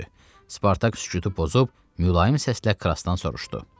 Spartak sükutu pozub, mülayim səslə Krasdan soruşdu.